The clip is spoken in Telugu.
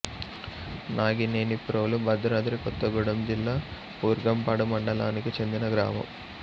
నాగినేనిప్రోలు భద్రాద్రి కొత్తగూడెం జిల్లా బూర్గంపాడు మండలానికి చెందిన గ్రామం